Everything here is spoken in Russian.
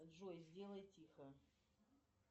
джой сделай тихо